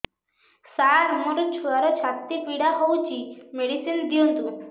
ସାର ମୋର ଛୁଆର ଛାତି ପୀଡା ହଉଚି ମେଡିସିନ ଦିଅନ୍ତୁ